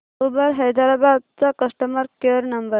Uber Hyderabad चा customer care number